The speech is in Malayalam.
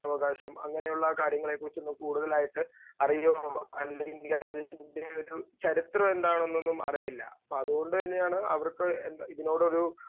സ്പീക്കർ 2 അവകാശം അങ്ങനെയുള്ള കാര്യങ്ങളെക്കുറിച്ച് നമ്മക്ക് കൂടുതലായിട്ട് അറിയുമ്പോ അല്ലെങ്കി അതിൻറെ ഒരു ചരിത്രംമെന്താണെന്ന് അറിയില്ല. അപ്പോൾ അതുകൊണ്ടുതന്നെയാണ് അവർക്ക് ഇതിനോടൊരു